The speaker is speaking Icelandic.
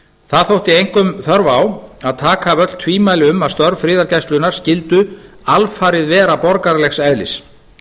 það þótti einkum þörf á að taka af öll tvímæli um að störf friðargæslunnar skyldu alfarið vera borgaralegs eðlis